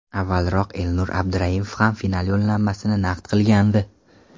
Avvalroq Elnur Abduraimov ham final yo‘llanmasini naqd qilgandi.